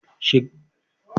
Ki shiga aji kafin lakcara ya shiga!